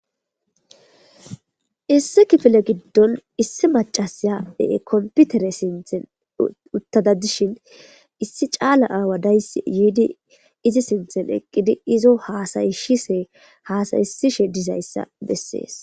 Issi kifile gidon issi mac'ashiya konpitere sinthen uttada dishin issi c'ala awa daysi yidi izi sinthan eqidi izo hasa'isishe dizaysa beses.